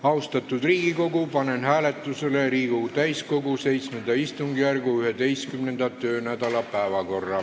Austatud Riigikogu, panen hääletusele Riigikogu täiskogu VII istungjärgu 11. töönädala päevakorra.